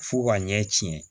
Fo ka ɲɛ tiɲɛ